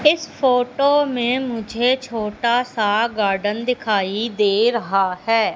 इस फोटो में मुझे छोटा सा गार्डन दिखाई दे रहा है।